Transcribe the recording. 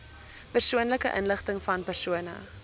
persoonlike inligtingvan persone